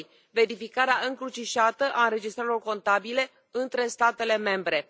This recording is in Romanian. verificarea încrucișată a înregistrărilor contabile între statele membre